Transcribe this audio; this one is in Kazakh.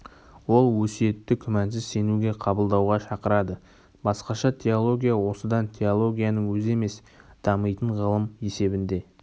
ол өсиетті күмәнсіз сенуге қабылдауға шақырады басқаша теология осыдан теологияның өзі емес дамитын ғылым есебінде